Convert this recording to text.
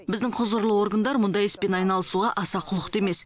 біздің құзырлы органдар мұндай іспен айналысуға аса құлықты емес